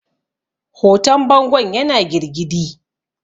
hoton bangon yana girgidi